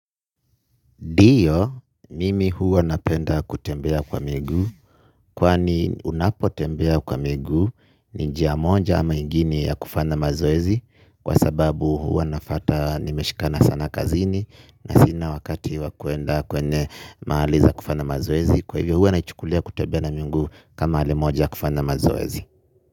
Ndiyo, mimi huwa napenda kutembea kwa miguu kwani unapo tembea kwa miguu ni njia moja ama ingine ya kufanya mazoezi. Kwa sababu huwa nafata nimeshikana sana kazini na sina wakati wakuenda kwenye maha liza kufanya mazoezi. Kwa hivyo huwa naichukulia kutembea na miguu kama hali moja kufanya mazoezi.